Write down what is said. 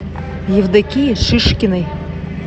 евдокии шишкиной